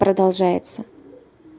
продолжается